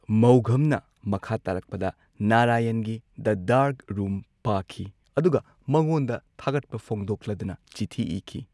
ꯃꯧꯘꯝꯅ ꯃꯈꯥ ꯇꯥꯔꯛꯄꯗ ꯅꯥꯔꯥꯌꯟꯒꯤ ꯗ ꯗꯥꯔꯛ ꯔꯨꯝ ꯄꯥꯈꯤ ꯑꯗꯨꯒ ꯃꯉꯣꯟꯗ ꯊꯥꯒꯠꯄ ꯐꯣꯡꯗꯣꯛꯂꯗꯨꯅ ꯆꯤꯊꯤ ꯏꯈꯤ꯫